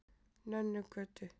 Nönnugötu